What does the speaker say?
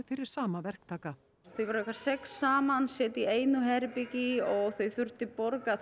fyrir sama verktaka þeir voru sex saman settir í eitt herbergi og þeir þurfti borga